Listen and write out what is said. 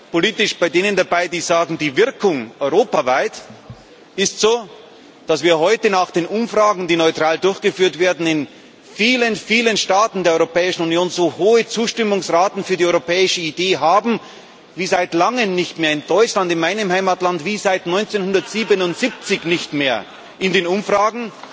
bin politisch bei denen dabei, die sagen Die Wirkung europaweit ist so, dass wir heute nach den Umfragen, die neutral durchgeführt werden, in vielen, vielen Staaten der Europäischen Union so hohe Zustimmungsraten für die europäische Idee haben wie seit langem nicht mehr in Deutschland, meinem Heimatland, wie seit 1977 nicht mehr in den Umfragen